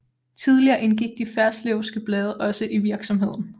Tidligere indgik de Ferslewske Blade også i virksomheden